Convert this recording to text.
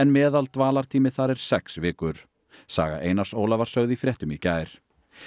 meðaldvalartími þar er sex vikur saga Einars Óla var sögð í fréttum í gær